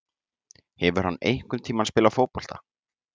Hefur hann einhvern tíma spilað fótbolta?